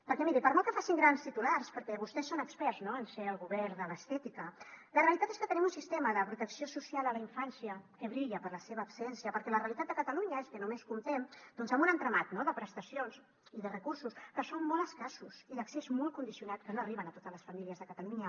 perquè miri per molt que facin grans titulars perquè vostès són experts no en ser el govern de l’estètica la realitat és que tenim un sistema de protecció social a la infància que brilla per la seva absència perquè la realitat de catalunya és que només comptem doncs amb un entramat de prestacions i de recursos que són molt escassos i d’accés molt condicionat que no arriben a totes les famílies de catalunya